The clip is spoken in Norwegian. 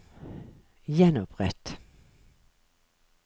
gjenopprett